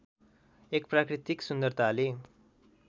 एक प्राकृतिक सुन्दरताले